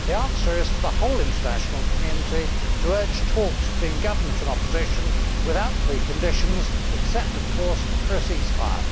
The answer is for the whole international community to urge talks between government and opposition without preconditions except, of course, for a ceasefire.